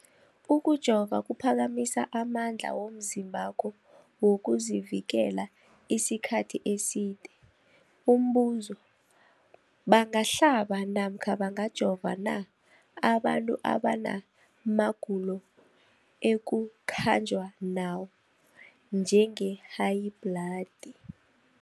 Ukujova kuphakamisa amandla womzimbakho wokuzivikela isikhathi eside. Umbuzo, bangahlaba namkha bangajova na abantu abana magulo ekukhanjwa nawo, njengehayibhladi?